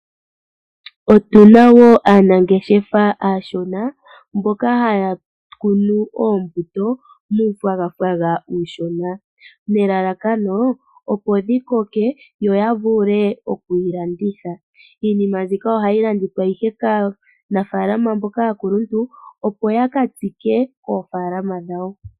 Otuna woo aanangeshefa aashona mboka haya kunu oombuto muunayilona uushona nelalakano opo dhikoke yo yavule okuyi landitha . Iinima mbika ohayi landithwa ihe kaanafaalama mboka aakuluntu opo yakatsike koofaalama dhawo